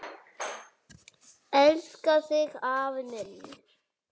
Elska þig afi minn.